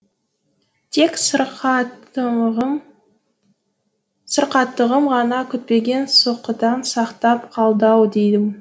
тек сырқаттығым сырқаттығым ғана күтпеген соққыдан сақтап қалды ау деймін